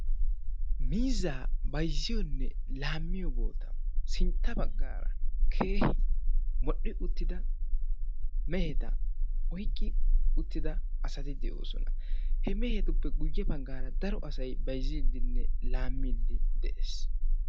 miizaa bayzziyoone laamiyo sintta baggara keehi modhdhi uttidaa meheta oyqqida uttida daro asati de'oossona he mehetuppe guyye baggara daro asay bayzzidinne laamide de'ees